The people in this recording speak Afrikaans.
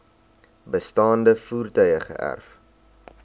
bestaande voertuie geërf